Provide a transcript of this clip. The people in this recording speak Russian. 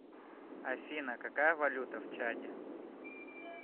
афина какая валюта в чаде